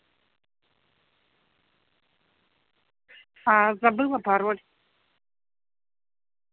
аа забыла пароль